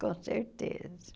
Com certeza.